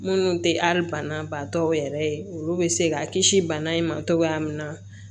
Minnu tɛ ali banabaatɔw yɛrɛ ye olu bɛ se ka kisi bana in ma cogoya min na